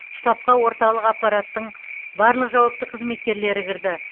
штабқа орталық аппараттың барлық жауапты қызметкерлері кірді